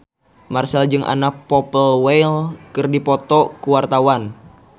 Marchell jeung Anna Popplewell keur dipoto ku wartawan